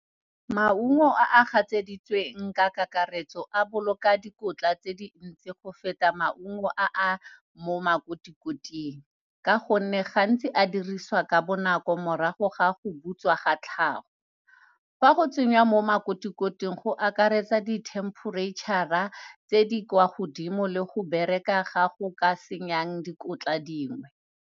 Maungo a a gatsheditsweng ka kakaretso a boloka dikotla tse dintsi go feta maungo a a mo makoti-koting, ka gonne gantsi a dirisiwa ka bonako morago ga go butswa ga tlhago. Fa go tsengwa mo makoti-koting, go akaretsa di-temperature-a tse di kwa godimo le go bereka ga go ka senyeng dikotla dingwe.